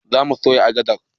Zamu soya agadar